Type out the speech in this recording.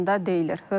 Paylaşımda deyilir: